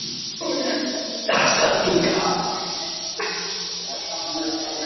Það líktist svörtu auga í snæviþöktu berginu, starandi til hafs.